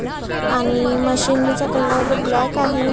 अह आणि मशीनीचा कलर ब्लॅक आहे.